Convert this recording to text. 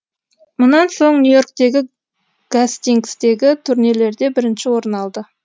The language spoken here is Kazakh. мұнан соң нью йорктегі гастингстегі турнирлерде бірінші орын алды